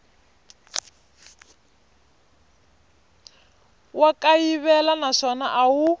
wa kayivela naswona a wu